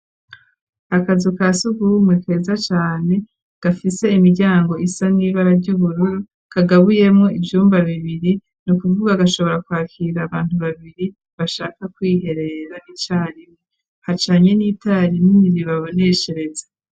Akazu kasugumwe keza cane gafise imiryango isa n'ibara ry'ubururu kagabuyemo ivyumba bibiri nukuvuga gashobora kwakira abantu babiri bashaka kwiherera n'icarimwe hacanye n'itararinini ribaboneshereza.